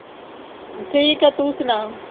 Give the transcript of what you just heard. ਠੀਕ ਆ ਤੂੰ ਸੁਣਾ